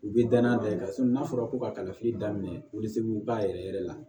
U bɛ danaya da i kan n'a fɔra ko ka kalafili daminɛ wili ba yɛrɛ yɛrɛ la